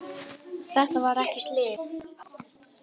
Þetta var ekki slys